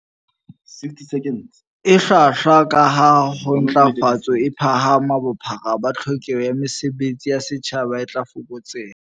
E hlwahlwa, kaha ha ntlafatso e phahama, bophara ba tlhokeho ya mesebe tsi ya setjhaba e tla fokotseha.